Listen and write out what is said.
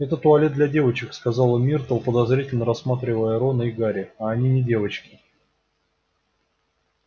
это туалет для девочек сказала миртл подозрительно рассматривая рона и гарри а они не девочки